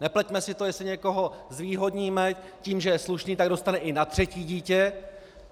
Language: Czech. Nepleťme si to, jestli někoho zvýhodníme tím, že je slušný, tak dostane i na třetí dítě.